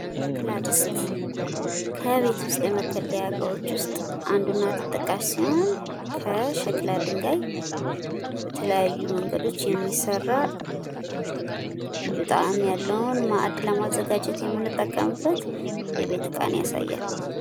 ሸክላ ድስት ከቤት ውስጥ የመገልገያ እቃዎች ውስጥ አንዱና ተጠቃሽ ሲሆን ከሸክላ ድጋይ በተለያዩ መንገዶች የሚሰራ ልዩ ጣዕም ያለውን ማድ ለማዘጋጀት የምንጠቀምበት የቤት እቃን ያሳያል።